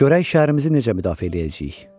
Görək şəhərimizi necə müdafiə eləyəcəyik.